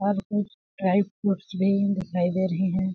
और कुछ dry foods भी दिखाई दे रहे हैं।